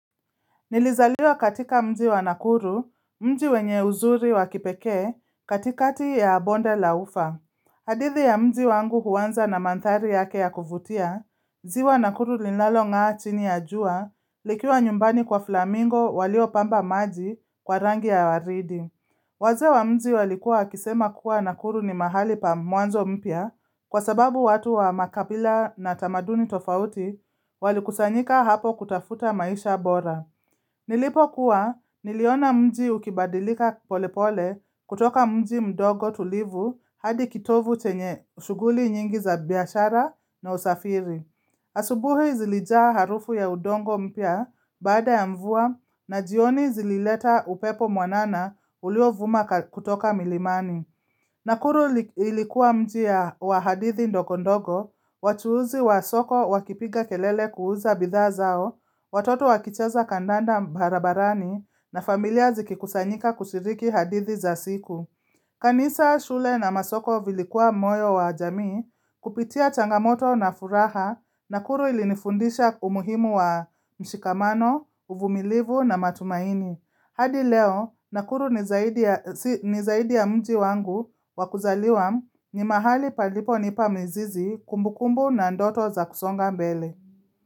Nilizaliwa katika mji wa nakuru, mji wenye uzuri wakipeke katikati ya bonde la ufa. Hadithi ya mji wangu huwanza na mantari yake ya kuvutia, ziwa nakuru linalong'a chini ya jua, likiwa nyumbani kwa flamingo walio pamba maji kwa rangi ya waridi. Waze wa mji walikuwa wakisema kuwa nakuru ni mahali pa muanzo mpya kwa sababu watu wa makabila na tamaduni tofauti walikusanyika hapo kutafuta maisha bora. Nilipo kuwa niliona mji ukibadilika pole pole kutoka mji mdogo tulivu hadi kitovu chenye ushuguli nyingi za biyashara na usafiri. Asubuhi zilijaa harufu ya udongo mpya baada ya mvua na jioni zilileta upepo mwanana ulio vuma kutoka milimani. Nakuru ilikuwa mji wa hadithi ndokondogo, wachuuzi wa soko wakipiga kelele kuuza bidha zao, watoto wakicheza kandanda barabarani na familia zikikusanyika kushiriki hadithi za siku. Kanisa shule na masoko vilikuwa moyo wa jamii, kupitia changamoto na furaha, nakuru ilinifundisha umuhimu wa mshikamano, uvumilivu na matumaini. Hadi leo, nakuru nizaidi ya mji wangu wakuzaliwa ni mahali paliponipa mizizi kumbukumbu na ndoto za kusonga mbele.